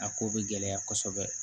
A ko bɛ gɛlɛya kosɛbɛ